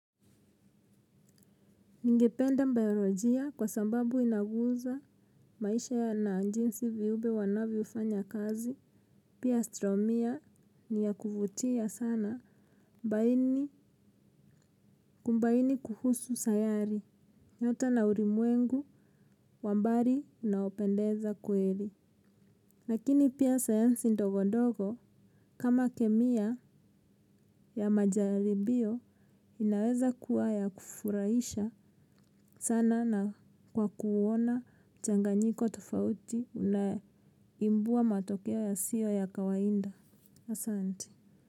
Ningependa biolojia kwa sababu inaguza maisha ya na jinsi viumbe wanavyofanya kazi. Pia astromia ni ya kuvutia sana kubaini kuhusu sayari. Nyota na ulimwengu, wa mbali unaopendeza kweli. Lakini pia sayansi ndogondogo kama kemia ya majaribio inaweza kuwa ya kufurahisha sana na kwa kuona mchanganyiko tofauti unae ibua matokea yasiyo ya kawaida. Asanti.